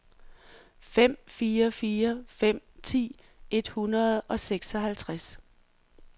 fem fire fire fem ti et hundrede og seksoghalvtreds